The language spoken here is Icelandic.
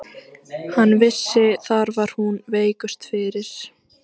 Hann vissi að þar var hún veikust fyrir.